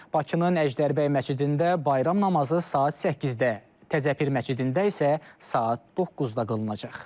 Bakının Əjdərbəy məscidində bayram namazı saat 8-də, Təzəpir məscidində isə saat 9-da qılınacaq.